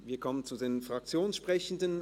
Wir kommen zu den Fraktionssprechenden.